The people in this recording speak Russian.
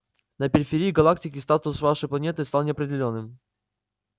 на периферии галактики статус вашей планеты стал неопределённым